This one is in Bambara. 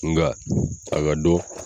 Nka a ka dɔn.